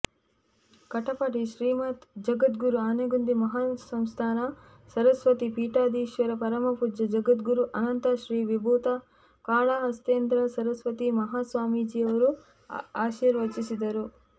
ಕಟಪಾಡಿ ಶ್ರೀಮತ್ ಜಗದ್ಗುರು ಆನೆಗುಂದಿ ಮಹಾಸಂಸ್ಥಾನ ಸರಸ್ವತೀ ಪೀಠಾಧೀಶ್ವರ ಪರಮಪೂಜ್ಯ ಜಗದ್ಗುರು ಅನಂತಶ್ರೀ ವಿಭೂತ ಕಾಳಹಸ್ತೇಂದ್ರ ಸರಸ್ವತೀ ಮಹಾಸ್ವಾಮೀಜಿಯವರು ಆಶೀರ್ವಚಿಸಿದರು